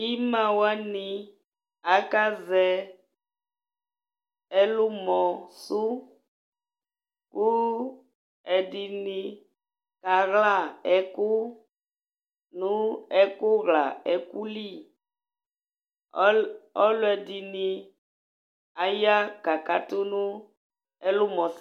Imawani akazɛ ɛlumɔ su Ku ɛdini aka wla ɛku nu ɛkuwla ɛkuli Ɔluɛdini aya kakatu nu ɛlumɔ